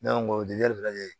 Ne ko n ko o de ya lajɛ